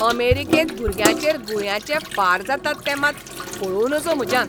अमेरीकेंत भुरग्यांचेर गुळयांचे फार जातात तें मात पळोवं नजो म्हज्यान.